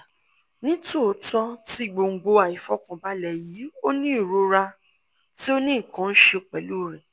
nitootọ ti gbongbo aifọkanbalẹ yii o ni irora ti o ni nkan ṣe pẹlu rẹ